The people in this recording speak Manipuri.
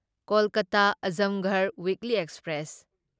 ꯀꯣꯜꯀꯇꯥ ꯑꯓꯝꯒꯔꯍ ꯋꯤꯛꯂꯤ ꯑꯦꯛꯁꯄ꯭ꯔꯦꯁ